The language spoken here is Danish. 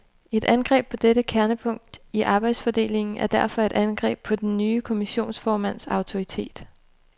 Et angreb på dette kernepunkt i arbejdsfordelingen er derfor et angreb på den nye kommissionsformands autoritet.